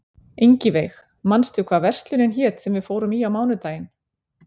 Ingiveig, manstu hvað verslunin hét sem við fórum í á mánudaginn?